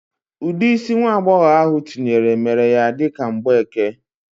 Udidi isi nwa agboghobia ahụ tinyere mere ya dika mgbeke.